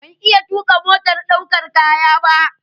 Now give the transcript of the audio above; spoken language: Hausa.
Ban iya tuƙa motar ɗaukar kaya ba.